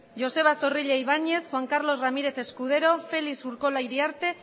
joseba zorrilla ibañez juan carlos ramírez escudero felix urkola iriarte